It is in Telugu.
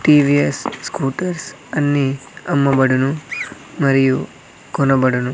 టి_వి_ఎస్ స్కూటర్స్ అన్ని అమ్మబడును మరియు కొనబడును.